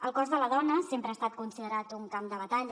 el cos de la dona sempre ha estat considerat un camp de batalla